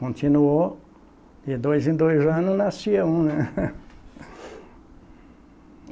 Continuou de dois em dois anos nascia um, né?